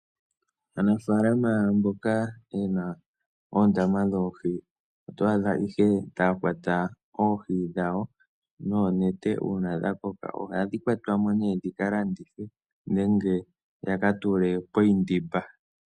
Aanafalama mboka ye na oondama dhoohi oto adha ihe taya kwata oohi dhawo noonete. Uuna dha koka ohadhi kwatwa mo ihe dhi ka landithwe nenge ya ka tule poshindimba.